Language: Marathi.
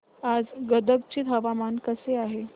आज गदग चे हवामान कसे आहे